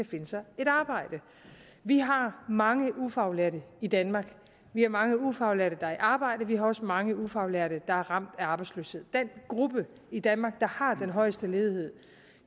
finde sig et arbejde vi har mange ufaglærte i danmark vi har mange ufaglærte der er i arbejde og vi har også mange ufaglærte der er ramt af arbejdsløshed den gruppe i danmark der har den højeste ledighed